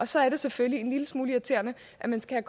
så er det selvfølgelig en lille smule irriterende at man skal